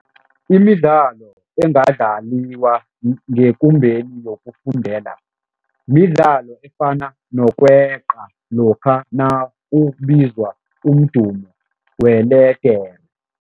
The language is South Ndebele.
Imidlalo engadlaliwa ngekumbeni yokufundela midlalo efana nokweqa lokha nakubizwa umdumo weledere.